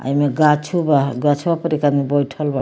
आ इमें गाछो बा गछवा पर एक आदमी बइठल बा।